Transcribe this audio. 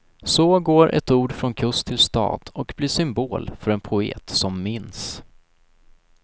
Så går ett ord från kust till stad och blir symbol för en poet som minns.